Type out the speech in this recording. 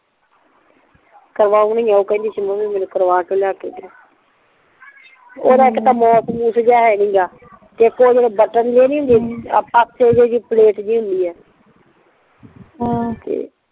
ਕਰਵੋਨੀ ਆ ਓ ਮੈਂਨੂੰ ਕਿਹੰਦੀ ਸੀ ਮੰਮੀ ਮੈਂਨੂੰ ਕਰਵਾ ਕੇ ਲੈ ਕੇ ਦੋ ਓਦ ਇੱਕ ਤਾਂ ਮਾਊਸ ਜੀਅ ਹੈ ਨਹੀਂ ਗ ਤੇ ਇੱਕ ਜੇਡੇ ਓ ਬਟਨ ਜੇ ਨਹੀਂ ਹੁੰਦੇ ਪਲੇਟ ਜੀ ਹੁੰਦੀ ਆ ਹਮ ਤੇ